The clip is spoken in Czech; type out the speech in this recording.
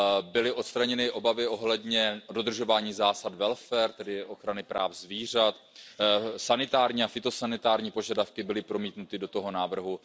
Byly odstraněny obavy ohledně dodržování zásad welfare tedy ochrany práv zvířat, sanitární a fytosanitární požadavky byly promítnuty do toho návrhu.